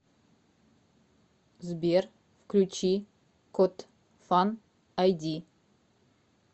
сбер включи кот фан айди